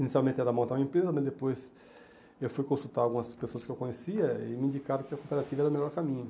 Inicialmente era montar uma empresa, mas depois eu fui consultar algumas pessoas que eu conhecia e me indicaram que a cooperativa era o melhor caminho.